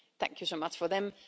Thank you so much for them.